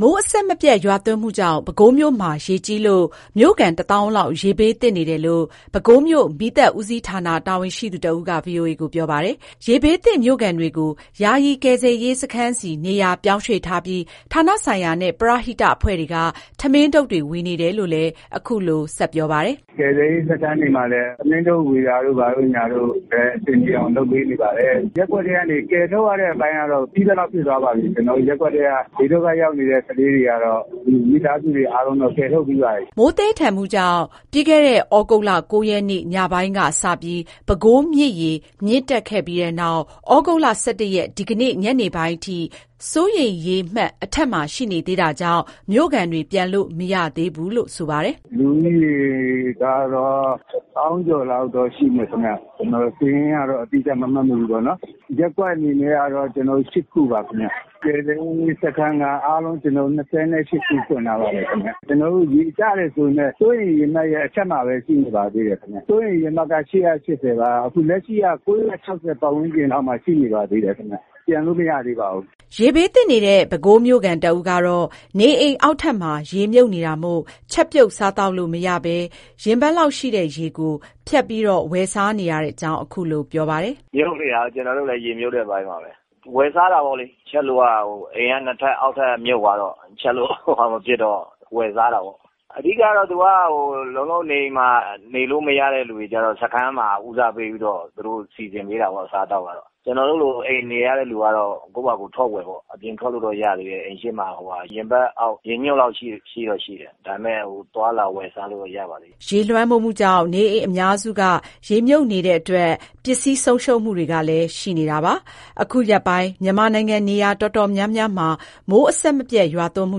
မိုးအဆက်မပြတ် ရွာသွန်းမှုကြောင့် ပဲခူးမြို့မှာ ရေကြီးလို့ မြို့ခံ တသောင်းလောက် ရေဘေးသင့်နေတယ်လို့ ပဲခူးမြို့ မီးသတ်ဦးစီးဌာန တာဝန်ရှိသူတဦးက ဗွီအိုအေကို ပြောပါတယ်။ ရေဘေးသင့် မြို့ခံတွေကို ယာယီကယ်ဆယ်စခ န်းဆီ နေရာပြောင်းရွှေ့ထားပြီး ဌာနဆိုင်ရာနဲ့ ပရဟိအဖွဲ့တွေက ထမင်းထုပ်ဝေနေတယ်လို့ အခုလို ဆက်ပြောပါတယ်။ “ကယ်ဆယ်ရေးစခန်းတွေမှာလည်း ထမင်းထုပ်ဝေတာတို့ ဘာတို့ ညာတို့ အဆင်ပြေအောင်လုပ်ပေးပါတယ်၊ ရပ်ကွက်ထဲကနေ ကယ်ထုတ်ရတဲ့အပိုင်းကတော့ ပြီးသလောက်ဖြစ်သွားပါပြီ ကျနော်တို့ ရပ်ကွက်ထဲက ဘေးဒုက္ခရောက်နေတဲ့ ခလေးတွေကတော့ မိသားစုတွေ အားလုံးကယ်ထုတ်ပြီးပါပြီ။” မိုးသည်းထန် ရွာသွန်းလို့ ပြီးခဲ့တဲ့ သြဂုတ် ၉ ရက်နေ့ ညပိုင်းကစ ပဲခူးမြစ်ရေ မြင့်တက်ခဲ့ပြီး သြဂုတ်လ ၁၁ ရက် ဒီကနေ့ ညနေပိုင်းအထိ စိုးရိမ်ရေမှတ်အထက်မှာ ရှိနေသေးတာမို့ မြို့ခံတွေ ပြန်လို့မရသေးဘူးလို့ ဆိုပါတယ်။ “လူဦးရေကတော့ တစ်သောင်းကျော်လောက်တော့ ရှိမယ်ထင်တယ်၊ ကျနော်တို့ စာရင်းကတော့ အတိအကျမမှတ်မိဘူးပေါ့နော်၊ ရပ်ကွက်အနေနဲ့ကတော့ ကျနော်တို့ ၈ ခု ပါ ခင်ဗျ၊ ကယ်ဆယ်ရေးစခန်းက အားလုံး ၂၈ ခု ဖွင့်ထားပါတယ်ခင်ဗျ။ ကျနော်တို့ ရေကျတယ်ဆိုပေမယ့် စိုးရိမ်ရေမှတ်ရဲ့ အထက်မှာပဲ ရှိနေပါသေးတယ်ခင်ဗျ၊ စိုးရိမ်ရေမှတ်က ၈၈၀ ပါ အခု လက်ရှိက ၉၆၀ ပတ်ဝန်းကျင်လောက်မှာ ရှိနေပါသေးတယ်ခင်ဗျ ပြန်လို့မရသေးဘူး။” ရေဘေးသင့်နေတဲ့ ပဲခူးမြို့ခံ တဦးကတော့ နေအိမ်အောက်ထပ်မှာ ရေမြုပ်နေတာမို့ ချက်ပြုတ်စားသောက်လို့မရဘဲ ရင်ဘတ်လောက်ရှိတဲ့ ရေကို ဖြတ်ပြီး ဝယ်စားနေရတဲ့အကြောင်း ခုလို ပြောပါတယ်။ “မြုပ်နေတာ ကျနော်တို့လည်း ရေမြုပ်တဲ့အပိုင်းပါပဲ၊ ဝယ်စားတာပေါ့လေး ချက်လို့က အိမ်ကနှစ်ထပ် အောက်ထပ်က မြုပ်သွားတော့ ချက်လို့မဖြစ်တော့ ဝယ်စားတာပေါ့။ အဓိကတော့ သူက လုံးလုံးနေအိမ်မှာ နေလို့မရတဲ့ လူတွေကျတော့ စခန်းမှာ ဦးစားပေးပြီးတော့ သူတို့စီစဉ်ပေးတာပေါ့ အစားအသောက်ကတော့၊ ကျနော်တို့လို အိမ်နေရတဲ့ လူကတော့ ကိုယ့်ပါကိုယ် ထွက်ဝယ်ပေါ့၊ အပြင်ထွက်လို့တော့ ရသေးတယ်၊ အိမ်ရှေ့မှာ ဟိုဟာ…ရင်ဘတ်အောက်ရေနက်လောက်ရှိတယ် ဒါပေမယ့် သွားလာဝယ်စားလို့တော့ ရပါသေးတယ်။” ရေးလွှမ်းမိုးမှုကြောင့် နေအိမ်အများစုက ရေမြုပ်နေတာကြောင့် ပစ္စည်းဆုံးရှုံးမှုတွေလည်း ရှိနေတယ်လို့ ဆိုပါတယ်။ ခုရက်ပိုင်း မြန်မာနိုင်ငံ နေရာတော်တော်များများမှာ မိုးအဆက်မပြတ် ရွာသွန်းမှု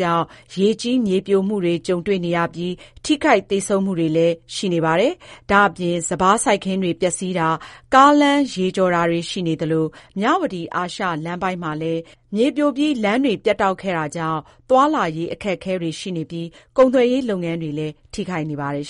ကြောင့် ရေကြီး၊ မြေပြိုမှုတွေနဲ့ ကြုံတွေ့နေရပြီး၊ ထိခိုက်သေဆုံးမှုတွေလည်း ကြုံနေရပါတယ်။ ဒါ့အပြင် စပါးစိုက်ခင်းတွေ ပျက်စီးတာ၊ ကားလမ်းရေကျော်တာတွေရှိနေသလို မြဝတီ အာရှလမ်းပိုင်းမှာလည် မြေပြိုပြီး လမ်းပိုင်းပြတ်တောက်ခဲ့တာကြောင့် သွားလာရေးအခက်အခဲရှိနေပြီး ကုန်သွယ်ရေးလုပ်ငန်းလည်း ထိခိုက်နေပါတယ်